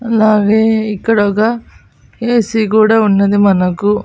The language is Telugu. అలాగే ఇక్కడొగ ఏసీ కూడా ఉన్నది మనకు.